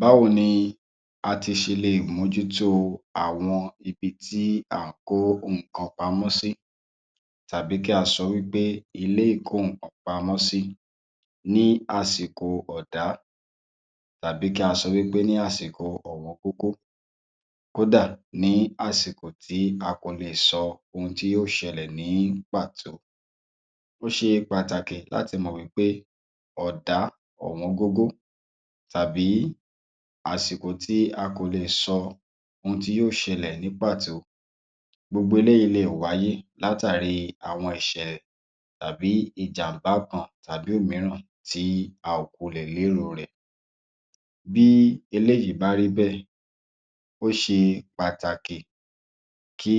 Báwo ni a ti ṣe lè mójú tó àwọn ibi tí à ń kó nǹkan pamọ́ sí, tàbí kí a sọ wí pé ilé ìkó-nǹkan pamọ́ sí ní àsìkò ọ̀dá, tàbí kí a sọ wí pé ní àsìkò ọ̀wọ́n-gógó, kódà nì àsìkò tí a kò le sọ ohun tí yóò ṣẹlẹ̀ ní pàtó? Ó ṣe pàtàkì láti mọ̀ wí pé ọ̀dá, ọ̀wọ́n-gógó tàbí àsìkò tí a kò le è sọ ohun tí yóò ṣẹlẹ̀ ní pàtó. Gbogbo eléyìí le è wáyé látàrí àwọn ìṣẹ̀lẹ̀ tàbi ìjàmbá kan tàbí òmíràn tí a kò wulẹ̀ lérò rẹ̀. Bí eléyìí bá rí bẹ́ẹ̀, ó ṣe pàtàkì kí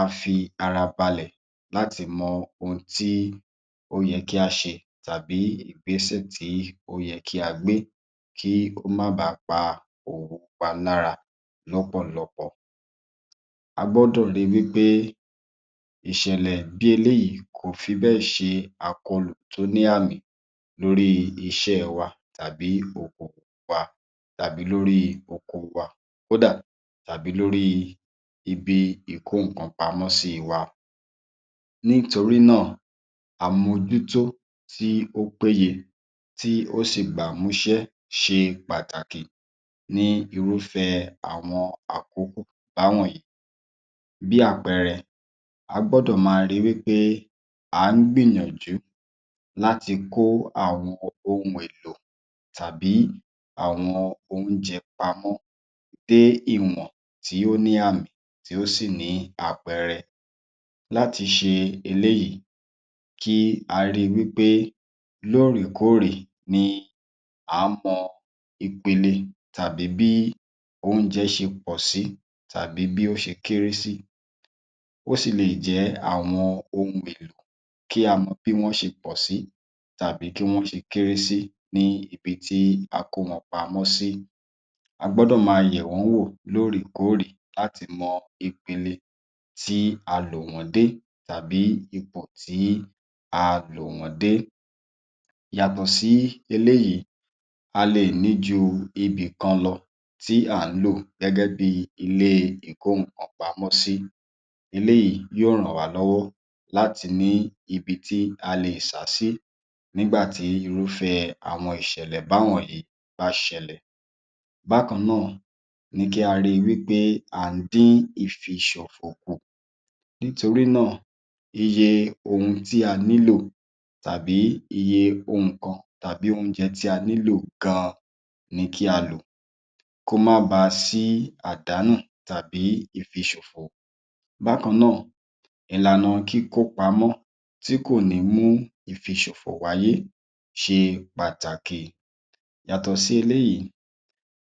a fi ara balẹ̀ láti mọ ohun tí ó yẹ kí á ṣe tàbí ìgbésẹ̀ tí ó yẹ kí a gbé kí ó má baà pa òwò wa lára lọ́pọ̀lọpọ̀. A gbọ́dọ̀ rí i wí pé ìṣẹ̀lẹ̀ bí eléyìí kò fi bẹ́ẹ̀ ṣe àkọlù tó ní àmì lórí iṣẹ́ wa tàbí okoòwò wa, tàbí lórí oko wa, kódà, tàbí lórí ibi ìkó-nǹkan pamọ́ sí wa. Nítorí náà, àmójútó tí ó péye, tí ó sì gbámúṣé ṣe pàtàkì ní irúfẹ́ àwọn àkókò báwọ̀nyìí. Bí àpẹẹrẹ, a gbọ́dọ̀ máa ríi wí pé à ń gbìyànjú láti kó àwọn ohun èlo tàbí àwọn oúnjẹ pamọ́ dé ìwọ̀n tí ó ní àmì, tí ó sì ní àpẹẹrẹ. Láti ṣe eléyìí, kí a ríi wí pé lóòrèkóòrè ni à ń mọ ìpele tàbí bí oúnjẹ ṣe pọ̀ sí, tàbí bí ó ṣe kééré sí. Ó sì leè jẹ́ àwọn ohun èèlò, kí a mọ bí wọ́n ṣe pọ̀ sí tàbí bí wọ́n ṣe kééré sí ní ibi tí a kó wọn pamọ́ sí. A gbọ́dọ̀ máa yẹ̀ wọ́n wò lóòrèkóòrè láti mọ ìpele tí a lò wọ́n dé tàbì ipò tí a lò wọ́n dé. Yàtọ̀ sí eléyìí, a lè ní ju ibì kan lọ tí à ń lò gẹ́gẹ́ bíi ilé ìkó-nǹkan pamọ́ sí. Eléyìí yóò ràn wá lọ́wọ́ láti ní ibi tí a lè sá sí nígbà tí irúfẹ́ àwọn ìṣẹ̀lẹ̀ báwọ̀nyìí bá ṣẹlẹ̀. Bákan náà ni kí a ríi wí pé à ń dín ìfiṣòfò kù. Nítorí náà, iye ohun tí a nílò, tàbí iye ohun kan, tàbí oúnjẹ tí a nílò gan-an ni kí a lò kó má baà sí àdánù tàbí ìfiṣòfò. Bákan náà, ìlànà kíkó pamọ́ tí kò ní mú ìfiṣòfò wáyé ṣe pàtàkì. Yàtọ̀ sí eléyìí,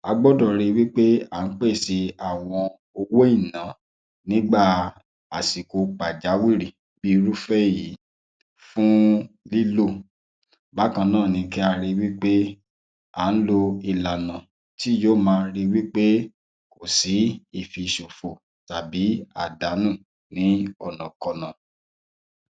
a gbọ́dọ̀ ríi wí pé à ń pèsè àwọn owó ìná nígbà àsìkò pàjáwìrì bí irúfẹ́ èyí fún lílò. Bákan náà ni kí a ríi wí pé à ń lo ìlànà tí yóò máa ríi wí pé kò sí ìfiṣòfò tàbí àdánù ní ọ̀nàkọnà.